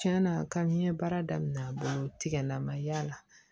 Tiɲɛna ka n ye baara daminɛ a bolo tigɛla ma y'a la